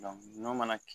n'o mana kɛ